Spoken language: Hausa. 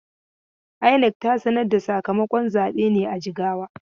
INEC ta sanar da sakamakon zabe ne a Jigawa?